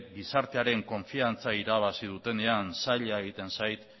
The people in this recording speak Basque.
gizartearen konfiantza irabazten dutenean zaila egiten zait